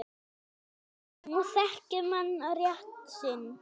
Nú þekki menn rétt sinn.